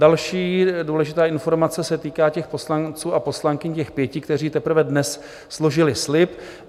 Další důležitá informace se týká těch poslanců a poslankyň, těch pěti, kteří teprve dnes složili slib.